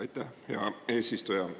Aitäh, hea eesistuja!